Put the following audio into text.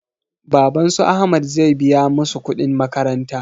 Baban su ahmad zai biya masu kuɗin makaranta